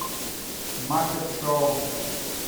маппет шоу